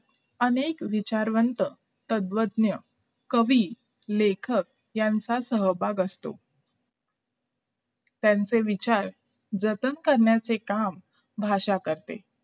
अनेक विचारवंत तत्वज्ञ कवी लेखक यांचा सहभाग असत त्यांचे विचार जतन करण्याचे काम भाषा करते